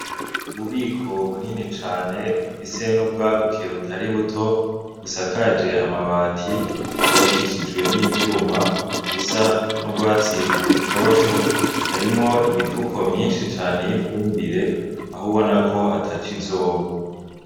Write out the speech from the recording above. Ububiko bunini cane, bufise n'ubwaguke butari buto, busakaje amabati ,bwubakishijwe n'ivyuma busa n'urwatsi rutoto harimwo imifuko myishi cane y'ifumbire aho ubona ko ataco izoba.